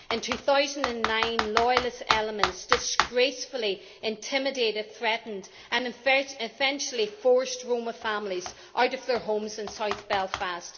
In 2009, Loyalist elements disgracefully intimidated, threatened and eventually forced Roma families out of their homes in South Belfast.